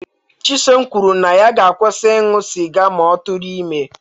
Chisom kwuru na ya ga-akwụsị ịṅụ sịga ma ọ tụrụ ime